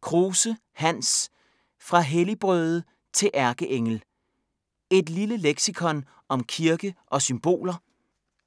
Kruse, Hans: Fra helligbrøde til ærkeengel: et lille leksikon om kirke og symboler